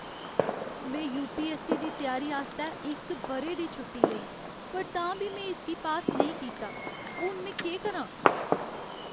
में यू.पी.ऐस्स.सी. दी त्यारी आस्तै इक ब'रे दी छुट्टी लेई, पर तां बी में इसगी पास नेईं कीता। हून में केह् करां?